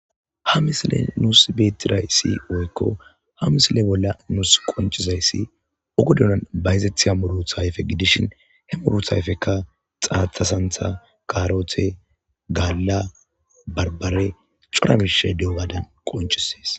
ha misileni nusi betidayis woyiko ha misile bolla nus qoncizayisi qoddani bayizetiya misha gidishin muruta ayife gidishin he muruta ayifezika xaxxet utida sanitha karote ganna baribare coora mishayi dizayisa qoncises